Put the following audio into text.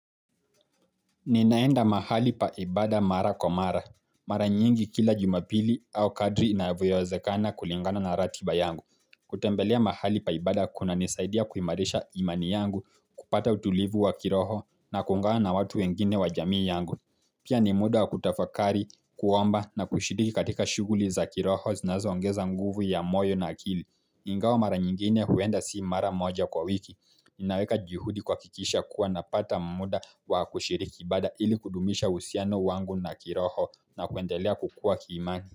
Ninaenda mahali pa ibada mara kwa mara. Mara nyingi kila jumapili au kadri inavyowezekana kulingana na ratiba yangu. Kutembelea mahali pa ibada kunanisaidia kuimarisha imani yangu kupata utulivu wa kiroho na kuungana na watu wengine wa jamii yangu. Pia ni muda wa kutafakari, kuomba na kushiriki katika shughuli za kiroho zinazo ongeza nguvu ya moyo na akili. Ingawa mara nyingine huenda si mara moja kwa wiki. Inaweka juhudi kuhakikisha kuwa napata muda wa kushiriki ibada ili kudumisha uhusiano wangu na kiroho na kuendelea kukua kiimani.